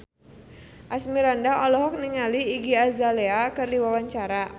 Asmirandah olohok ningali Iggy Azalea keur diwawancara